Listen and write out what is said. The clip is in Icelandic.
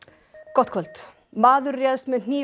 gott kvöld maður réðst með hnífi